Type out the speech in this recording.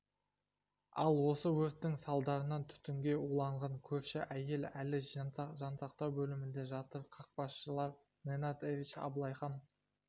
ал осы өрттің салдарынан түтінге уланған көрші әйел әлі жансақтау бөлімінде жатыр қақпашылар ненад эрич абылайхан